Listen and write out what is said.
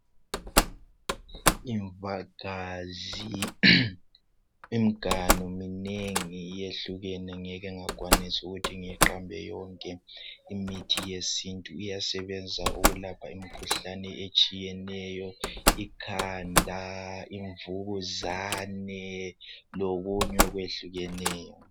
Imvagazi, imganu minengi yehlukene ngeke ngakwanis' ukuthi ngiyiqambe yonke. Imithi yesintu iyasebenza ukulapha imikhuhlane etshiyeneyo. Ikhanda, imvukuzane lokuny' okwehlukeneyo.